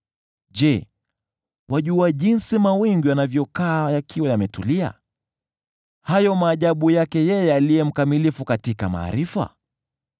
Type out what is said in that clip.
Je, wajua jinsi mawingu yanavyokaa yakiwa yametulia, hayo maajabu yake yeye aliye mkamilifu katika maarifa?